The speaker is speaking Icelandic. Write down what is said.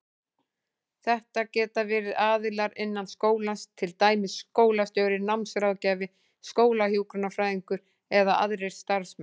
Þetta geta verið aðilar innan skólans, til dæmis skólastjóri, námsráðgjafi, skólahjúkrunarfræðingur eða aðrir starfsmenn.